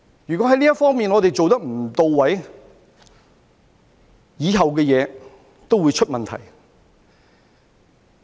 如果這方面做得不到位，以後的東西都會出問題。